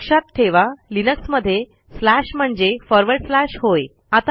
लक्षात ठेवा लिनक्समध्ये स्लॅश म्हणजे फॉरवर्ड स्लॅश होय